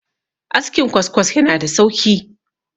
askin kwaskwas yana da sauki